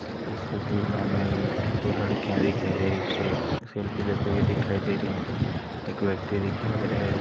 इस तस्वीर मे हमें दो लडकिया दिखाई दे रही हैं से सेल्फी लेते हुए दिखाई दे रही हैं एक व्यक्ति दिखाई दे रहा है।